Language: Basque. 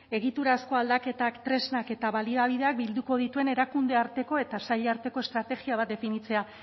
egiturazko aldaketak tresnak eta baliabideak bilduko dituen erakunde arteko eta saila arteko estrategia bat definitzea